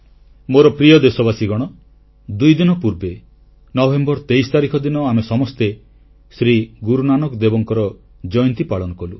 ମୋର ପ୍ରିୟ ଦେଶବାସୀଗଣ ଦୁଇଦିନ ପୂର୍ବେ ନଭେମ୍ବର 23 ତାରିଖ ଦିନ ଆମେ ସମସ୍ତେ ଶ୍ରୀ ଗୁରୁନାନାକ ଦେବଙ୍କ ଜୟନ୍ତୀ ପାଳନ କଲୁ